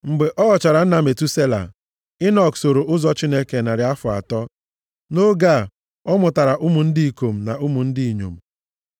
Mgbe ọ ghọchara nna Metusela, Enọk soro ụzọ Chineke narị afọ atọ. Nʼoge a, ọ mụtara ụmụ ndị ikom na ụmụ ndị inyom.